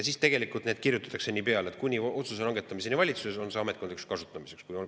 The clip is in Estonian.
Siis tegelikult kirjutatakse peale, et kuni otsuse langetamiseni valitsuses on see ametkondlikuks kasutamiseks.